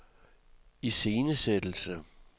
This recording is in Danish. iscenesættelse